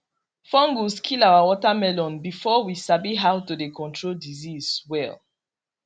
fungus kill our watermelon before we sabi how to dey control disease well